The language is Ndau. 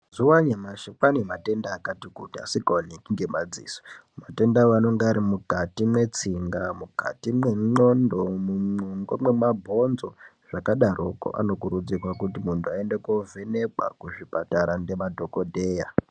Mazuva anyamashi kwane matenda akati kuti asikaoneki ngemadziso. Matenda anonga ari mukati mwetsinga mukati mendxondo mungo memabhonzo zvakadaroko. Anokurudzirwa kuti muntu aende kovhenekwa kuzvipatara ndemadhogodheya.